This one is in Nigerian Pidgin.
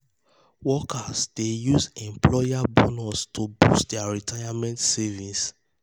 workers dey workers dey use employer bonus to boost their retirement savings.